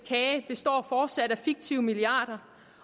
kage består fortsat af fiktive milliarder